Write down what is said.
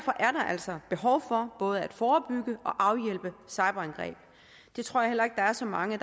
altså behov for både at forebygge og afhjælpe cyberangreb det tror jeg heller ikke der er så mange